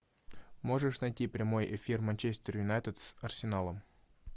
можешь найти прямой эфир манчестер юнайтед с арсеналом